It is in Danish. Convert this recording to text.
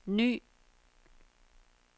ny